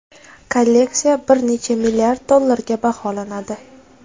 Kolleksiya bir necha milliard dollarga baholanadi.